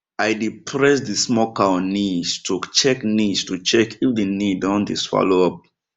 i dey press the small cow knees to check knees to check if the knee don dey swallow up